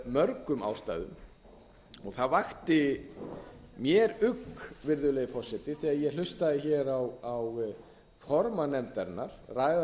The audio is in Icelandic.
mörgum ástæðum það vakti mér ugg virðulegi forseti þegar ég hlustaði hér á formann nefndarinnar ræða